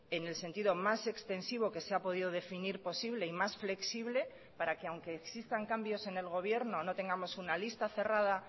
en el sentido más extensivo que se ha podido definir posible y más flexible para que aunque existan cambios en el gobierno no tengamos una lista cerrada